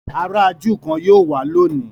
àrà júù kán yíò wá lóni